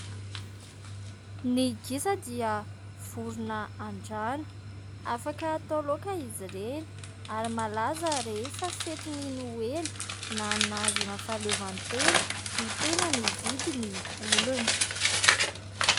Ny gisa dia vorona an-drano. Afaka atao laoka izy ireny ary malaza rehefa fetin'ny noely na ny nahazoana ny fahaleovan-tena no tena mividy ny olona.